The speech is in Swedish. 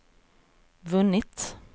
vunnit